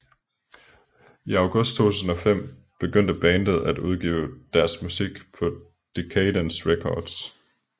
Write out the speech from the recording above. I august 2005 begyndte bandet at udgive deres musik på Decaydance Records